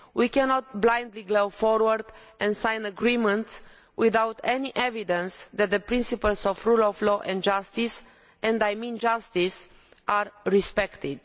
we cannot blindly go forward and sign agreements without any evidence that the principles of the rule of law and justice and I mean justice are respected.